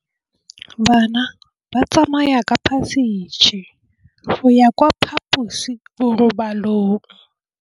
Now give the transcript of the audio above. Bana ba tsamaya ka phašitshe go ya kwa phaposiborobalong.